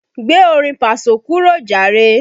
Gbé orin paso kúrò jàre!